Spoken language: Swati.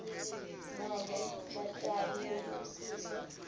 nobe batali belusiso